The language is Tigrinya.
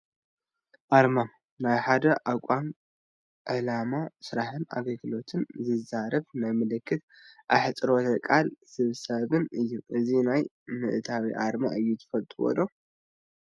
ኣርማ፡- ናይ ሓደ ተቋም ዕላማ፣ ስራሕን ኣገልግሎትን ዝዛረብ ናይ ምልክትን ኣህፅሮተ ቃላት ስብስብን እዩ፡፡ እዚ ናይ ምንታይ ኣርማ እዩ ትፈልጥዎ ዶ?